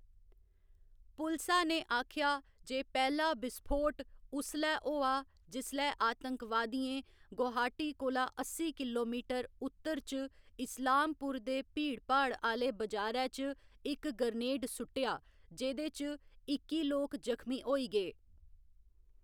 पुलसा ने आखेआ जे पैह्‌‌ला विस्फोट उसलै होआ जिसलै आतंकवादियें गुवाहाटी कोला अस्सी किलोमीटर उत्तर च इस्लामपुर दे भीड़भाड़ आह्‌‌‌ले बजारै च इक ग्रेनेड सुट्टेआ, जेह्‌‌‌दे च इक्की लोक जखमी होई गे।